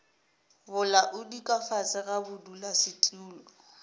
bolaodi ka fase ga bodulasetulo